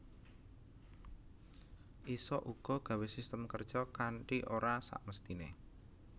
Isa uga gawé system kerja kanti ora sakmestiné